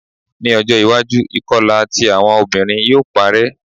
Ni ojo iwaju, ikọla ti awọn obinrin yoo parẹ